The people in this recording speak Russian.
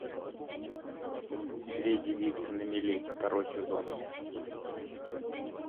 две девицы на мели второй сезон